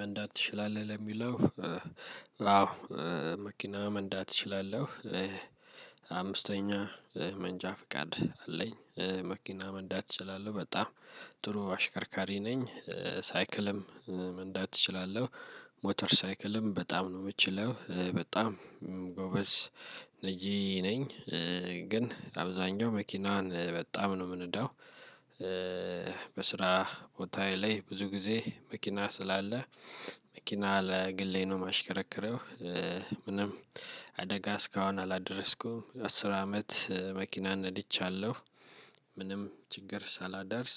መንዳት ትችላለህ ለሚለው? አዎ መኪና መንዳት እችላለሁ። አምስተኛ መንጃ ፍቃድ አለኝ። መኪና መንዳት እችላለሁ በጣም ጥሩ አሽከርካሪ ነኝ። ሳይክልም መንዳት እችላለሁ። ሞተር ሳይክልም በጣም ነው የምችለው በጣም ጎበዝ ነጂ ነኝ። ግን አብዛኛው መኪናን በጣም ነው የምንዳው። በስራ ቦታዬ ላይ ብዙ ጊዜ መኪና ስላለ መኪና ለግሌ ነው የማሽከረክረው። ምንም አደጋ እስካሁን አላደረስኩም አስር አመት መኪናን ነድቻለሁ። ምንም ችግር ሳላደርስ።